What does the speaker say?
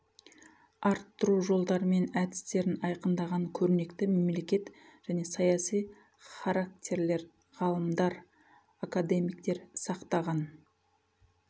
арттыру жолдары мен әдістерін айқындаған көрнекті мемлекет және саяси характерлер ғалымдар академиктер сақтаған